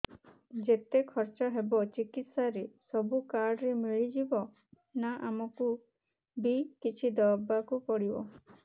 ଯେତେ ଖର୍ଚ ହେବ ଚିକିତ୍ସା ରେ ସବୁ କାର୍ଡ ରେ ମିଳିଯିବ ନା ଆମକୁ ବି କିଛି ଦବାକୁ ପଡିବ